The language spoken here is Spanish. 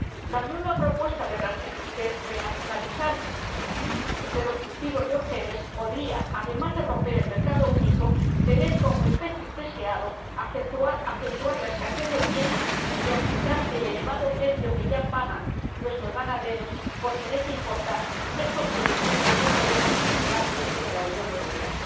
La nueva propuesta de renacionalizar los cultivos de OMG podría, además de romper el mercado único, tener como efecto indeseado acentuar la escasez de piensos y aumentar el elevado precio que ya pagan nuestros ganaderos por tener que importar estos productos que no podemos cultivar dentro de la Unión Europea.